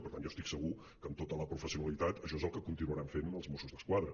per tant jo estic segur que amb tota la professionalitat això és el que continuaran fent els mossos d’esquadra